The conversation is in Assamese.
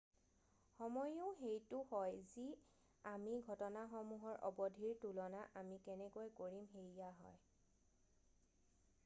সময়োও সেইটো হয় যি আমি ঘটনাসমূহৰ অবধি দৈৰ্ঘ্য ৰ তুলনা আমি কেনেকৈ কৰিম সেইয়া হয়৷